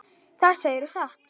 Það segirðu satt.